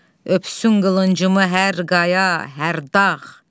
Öpsün qılıncımı hər qaya, hər dağ!